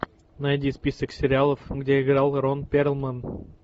найди список сериалов где играл рон перлман